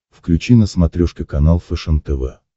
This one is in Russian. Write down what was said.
включи на смотрешке канал фэшен тв